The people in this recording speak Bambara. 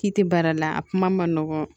K'i ti baara la a kuma ma nɔgɔ